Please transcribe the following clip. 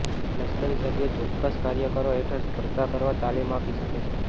લશ્કરી સભ્યો ચોક્કસ કાર્યક્રમો હેઠળ સ્પર્ધા કરવા તાલીમ આપી શકે છે